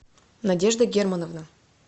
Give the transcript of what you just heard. надежда германовна